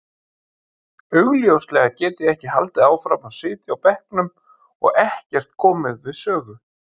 Augljóslega get ég ekki haldið áfram að sitja á bekknum og ekkert komið við sögu.